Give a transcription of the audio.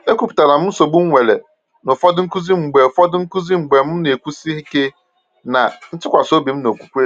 E kwuputara m nsogbu m nwere na ụfọdụ nkuzi mgbe ụfọdụ nkuzi mgbe m na-ekwusi ike na ntụkwasị obi m n’okwukwe.